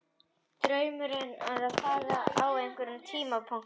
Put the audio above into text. Draumurinn er að fara út í þjálfun á einhverjum tímapunkti.